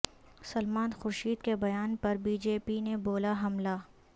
سلمان خورشید کے بیان پر بی جے پی نے بولا حملہ